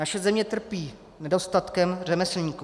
Naše zemí trpí nedostatkem řemeslníků.